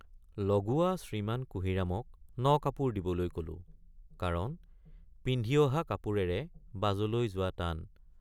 লগুৱা শ্ৰীমান কুঁহিৰামক নকাপোৰ দিবলৈ কলোঁ কাৰণ পিন্ধি অহা কাপোৰেৰে বাজলৈ যোৱা টান।